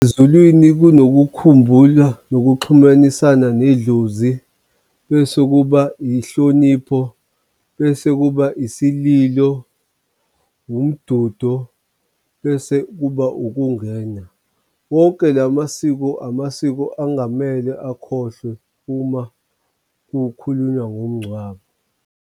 Ezulwini kunokukhumbula nokuxhumanisana nedlozi, bese kuba inhlonipho, bese kuba isililo, umdudo, bese kuba ukungena. Wonke la masiko amasiko angamele akhohlwe uma kukhulunywa ngomngcwabo.